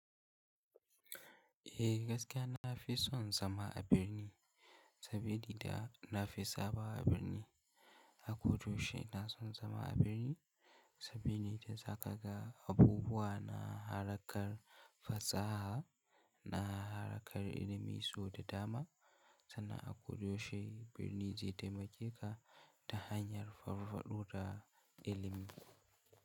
Eh gaskiya na fi son zama a birni saboda da na fi saba a birni. A. Ko da yaushe ina son zama a birni saboda da za ka ga abubuwa na harkar fasaha, na harkar ilimi sau da dama sannan a ko da yaushe birni zai taimake ka ta hanyar farfaɗo da ilimi.